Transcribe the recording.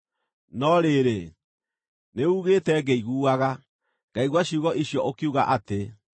“No rĩrĩ, nĩuugĩte ngĩiguaga, ngaigua ciugo icio ũkiuga atĩ,